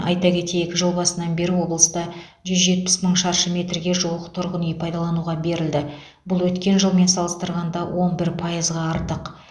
айта кетейік жыл басынан бері облыста жүз жетпіс мың шаршы метрге жуық тұрғын үй пайдалануға берілді бұл өткен жылмен салыстырғанда он бір пайызға артық